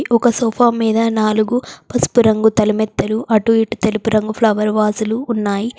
ఒక సోఫా మీద నాలుగు పసుపు రంగు తలమెత్తలు అటు ఇటు తెలుపు రంగు ఫ్లవర్ వాజులు ఉన్నాయి.